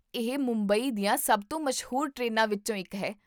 ਇਹ ਮੁੰਬਈ ਦੀਆਂ ਸਭ ਤੋਂ ਮਸ਼ਹੂਰ ਟ੍ਰੇਨਾਂ ਵਿੱਚੋਂ ਇੱਕ ਹੈ